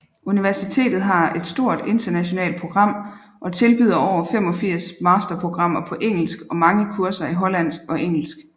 Universitetet har et stort internationalt program og tilbyder over 85 masterprogrammmer på engelsk og mange kurser i hollandsk og engelsk